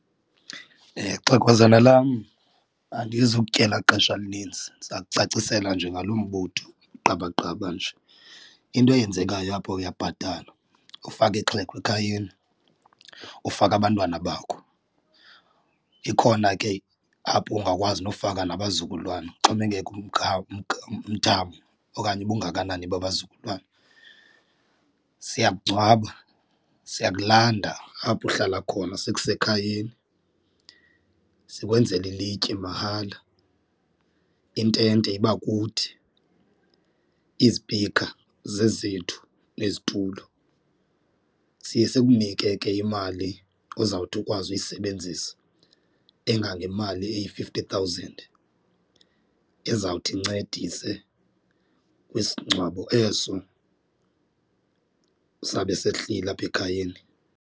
Xhegwazana lam andizukutyela xesha elininzi ndiza kucacisela nje ngalo mbutho gqaba gqaba nje. Into eyenzekayo apha uyabhatala ufake ixhego ekhayeni, ufake abantwana bakho, ikhona ke apho ungakwazi nofaka nabazukulwana kuxhomekeka umthamo okanye ubungakanani babazukulwana. Siyakungcwaba, siyakulanda apho uhlala khona sikuse ekhayeni, sikwenzele ilitye mahala, intente iba kuthi, izipika zezethu nezitulo. Siye sikunike ke imali ozawuthi ukwazi uyisebenzisa engangemali eyi-fifty thousand ezawuthi incedise kwisingcwabo eso sabe sehlile apha ekhayeni.